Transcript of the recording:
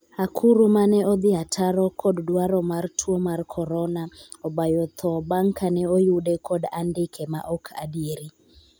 akuru 'mane odhi ataro kod dwaro mar tuo mar korona obayo tho bang' kane oyude kod andike ma ok adieri